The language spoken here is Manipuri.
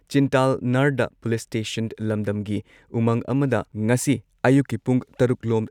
ꯆꯤꯟꯇꯥꯜꯅꯔꯗ ꯄꯨꯂꯤꯁ ꯁ꯭ꯇꯦꯁꯟ ꯂꯝꯗꯝꯒꯤ ꯎꯃꯪ ꯑꯃꯗ ꯉꯁꯤ ꯑꯌꯨꯛꯀꯤ ꯄꯨꯡ ꯇꯔꯨꯛ ꯂꯣꯝ